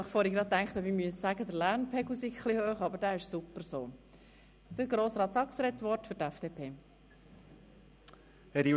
Der nächste Fraktionssprecher ist Grossrat Saxer für die FDP-Fraktion.